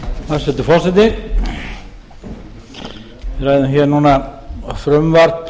hæstvirtur forseti við ræðum hér núna frumvarp